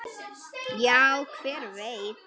Já, hver veit?